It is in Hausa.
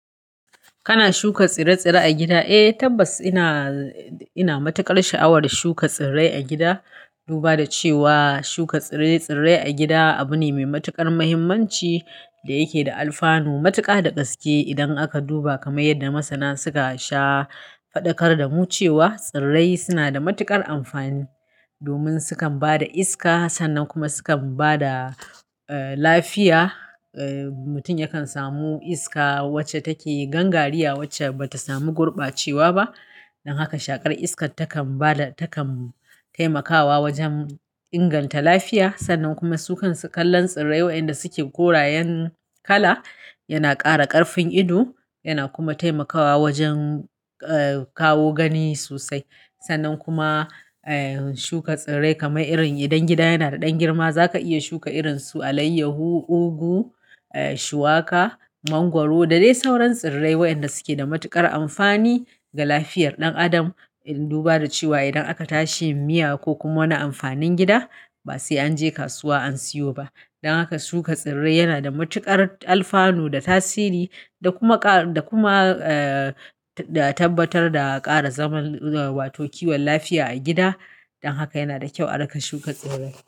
Kana shuka tsire-tsire a gida? Eh, tabbas ina, ina matuƙar sha'awar shuka tsirrai a gida. Duba da cewa shuka tsire-tsirrai a gida abu ne mai matuƙar muhimmanci da yake da alfanu matuƙa da gaske. Idan aka duba kamar yadda masana suka sha faɗakar da mu cewa tsirrai suna da matuƙar amfani domin sukan ba da iska sannan kuma sukan ba da, eh, lafiya. Eh, mutum yakan samu iska wacce take gangariya wacce bata samu gurbacewa ba. Don haka shaƙar iskar takan ba da, takan taimakawa wajen inganta lafiya. Sannan kuma sukan kallon tsirrai wayanda suke korayen kala yana ƙara ƙarfin ido yana kuma taimakawa wajen, eh, kawo gani sosai. Sannan kuma, eh, shuka tsirrai kamar irin idan gida yana da ɗan girma zaka iya shuka irin su alaiyahu, ugu, shuwaka, mangwaro da dai sauran tsirrai wayanda suke da matuƙar amfani ga lafiyar ɗan adam. Duba da cewa idan aka tashi miya ko kuma wani amfanin gida ba sai an je kasuwa an siyo ba. Don haka shuka tsirrai yana da matuƙar alfanu da tasiri da kuma ƙa, da kuma, da tabbatar da ƙara zaman, wato kiwon lafiya a gida. Don haka yana da kyau a riƙa shuka tsirrai.